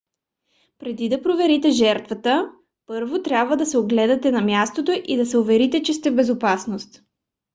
преди да проверите жертвата първо трябва да огледате мястото и да се уверите че сте в безопасност